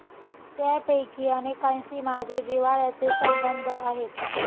त्यापैकी अनेकांशी माझे जिव्हाळ्याचे संबंध आहेत.